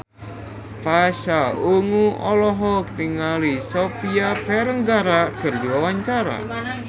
Pasha Ungu olohok ningali Sofia Vergara keur diwawancara